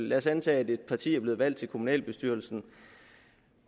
lad os antage at et parti er blevet valgt til kommunalbestyrelsen